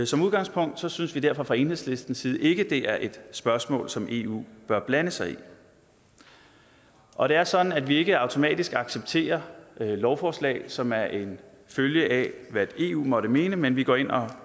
som udgangspunkt synes vi derfor fra enhedslistens side ikke at det er et spørgsmål som eu bør blande sig i og det er sådan at vi ikke automatisk accepterer lovforslag som er en følge af hvad eu måtte mene men vi går ind og